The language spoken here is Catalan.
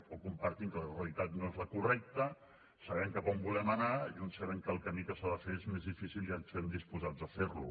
o compartim que la realitat no és la correcta sabem cap on volem anar i uns sabem que el camí que s’ha de fer és més difícil i estem disposats a fer lo